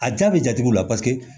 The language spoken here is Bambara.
A jaa bɛ jatigiw la paseke